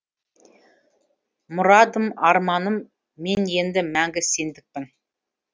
мұрадым арманым мен енді мәңгі сендікпін